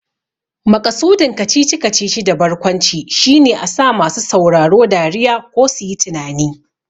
Maƙasudin kacici-kacici da barkwanci shine a sa masu sauraro dariya ko suyi tunani.